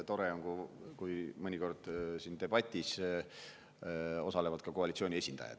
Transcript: Tore on, kui mõnikord siin debatis osalevad ka koalitsiooni esindajad.